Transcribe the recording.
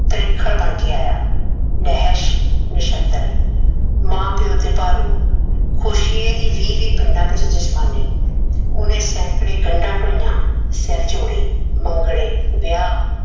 ਤ੍ਰਿਖਣ ਬਣ ਕੇ ਆਇਆ। ਨਹਿਸ਼, ਨਿਛੱਤਰ ਮਾਂ ਪਿਓ ਤੇ ਭਾਰੂ, ਕੋਸ਼ੀਏ ਦੀ ਵੀਹ ਵੀਹ ਪਿੰਡਾਂ ਵਿਚ ਜਜਮਾਨੀ। ਉਹਨੇ ਸੈਂਕੜੇ ਗੰਢਾਂ ਢੋਈਆਂ, ਸਿਰ ਜੋੜੇ, ਮੰਗਣੇ, ਵਿਆਹ